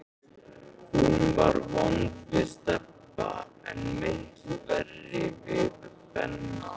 Hún var vond við Stebba, en miklu verri við Benna.